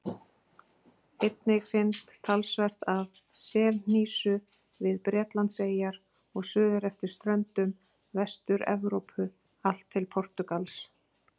Einnig finnst talsvert af selhnísu við Bretlandseyjar og suður eftir ströndum Vestur-Evrópu allt til Portúgals.